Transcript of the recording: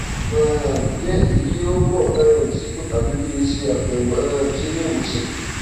um ǹjẹ èyí yóò bọ um sípò tàbí kí n ṣe àbẹwò um sí iléìwòsàn